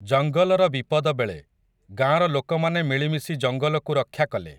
ଜଙ୍ଗଲର ବିପଦବେଳେ, ଗାଁର ଲୋକମାନେ ମିଳିମିଶି ଜଙ୍ଗଲକୁ ରକ୍ଷା କଲେ ।